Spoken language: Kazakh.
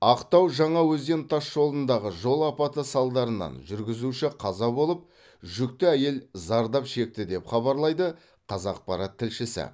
ақтау жаңаөзен тасжолындағы жол апаты салдарынан жүргізуші қаза болып жүкті әйел зардап шекті деп хабарлайды қазақпарат тілшісі